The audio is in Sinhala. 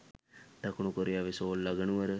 දකුණු කොරියාවේ සෝල් අගනුවර